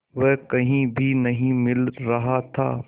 वह कहीं भी नहीं मिल रहा था